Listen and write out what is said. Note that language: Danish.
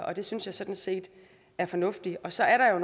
og det synes jeg sådan set er fornuftigt så er der